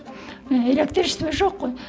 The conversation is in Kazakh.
ііі электричество жоқ қой